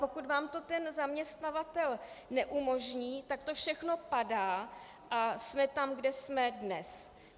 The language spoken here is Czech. Pokud vám to ale zaměstnavatel neumožní, tak to všechno padá a jsme tam, kde jsme dnes.